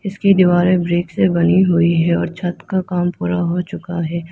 इसके दीवारों ब्रेक से बनी हुई है और छत का काम पूरा हो चुका है।